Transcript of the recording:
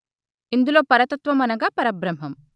ఇందులో పరతత్వం అనగా పరబ్రహ్మం